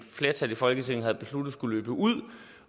flertal i folketinget havde besluttet skulle løbe ud